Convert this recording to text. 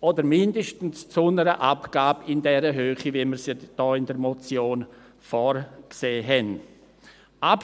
oder mindestens zu einer Abgabe in der Höhe, wie wir sie in der Motion vorgesehen haben.